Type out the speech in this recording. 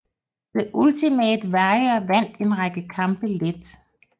The Ultimate Warrior vandt en række kampe let